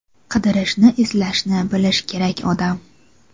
Qidirishni, izlashni bilish kerak odam.